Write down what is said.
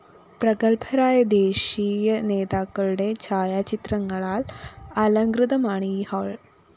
പ്രഗത്ഭരായ ദേശീ നേതാക്കളുടെ ഛായാചിത്രങ്ങളാല്‍ അലംകൃതമാണ്‌ ഈ ഹാള്‍